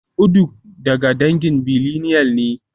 Uduak daga dangin billineal ne